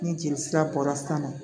Ni jeli sira bɔra san nɔ